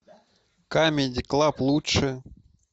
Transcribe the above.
камеди клаб лучшее